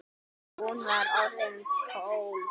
Hún var orðin tólf!